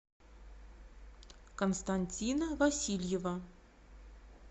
константина васильева